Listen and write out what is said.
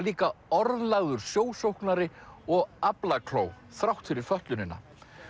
líka orðlagður sjósóknari og þrátt fyrir fötlunina